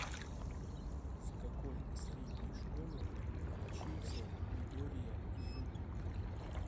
в какой средней школе учился мидория изуку